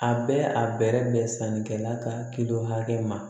A bɛ a bɛrɛ bɛn sannikɛla ka kilo hakɛ ma